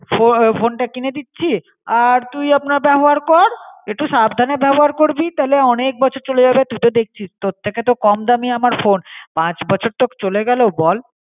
ফো ফোনটা কিনে দিচি আর তুই আপনা বেবহার কর. একটু সাবধানে বেবহার করবি তাহলে অনেক বছর চলে যাবে. তুইতো দেখচিস তোর ঠিকে তো কম দামি আমার ফোন. পাঁচ বছর তো চলে গেলো বল.